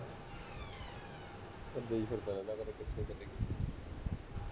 ਕੱਲੇ ਹੀ ਫਿਰਦਾ ਰਹਿੰਦਾ, ਕਦੇ ਕਿਥੇ, ਕਦੇ ਕਿਥੇ